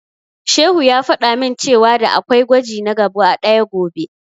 Shehu ya faɗa min cewa da'a kwai gwaji na gaba ɗaya gobe.